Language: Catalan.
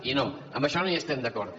i no en això no hi estem d’acord